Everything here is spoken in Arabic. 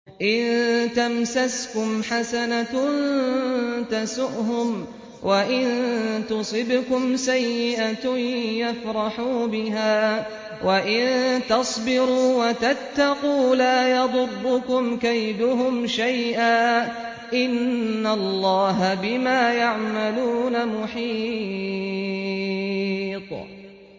إِن تَمْسَسْكُمْ حَسَنَةٌ تَسُؤْهُمْ وَإِن تُصِبْكُمْ سَيِّئَةٌ يَفْرَحُوا بِهَا ۖ وَإِن تَصْبِرُوا وَتَتَّقُوا لَا يَضُرُّكُمْ كَيْدُهُمْ شَيْئًا ۗ إِنَّ اللَّهَ بِمَا يَعْمَلُونَ مُحِيطٌ